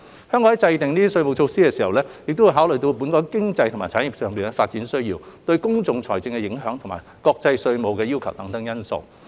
政府在制訂稅務措施時，會考慮本港經濟及產業發展的需要、對公共財政的影響，以及國際稅務要求等因素。